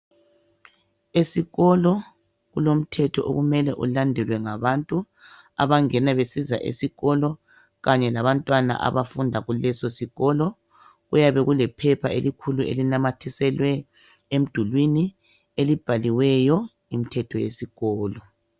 Esikolo kulomthetho okumele ulandelwe ngabantu abangena besiza esikolo kanye labantwana abafunda kuleso sikolo. Kuyabe kulephepha elikhulu elinamathiselwe emdulini elibhaliweyo imthetho yesikolo.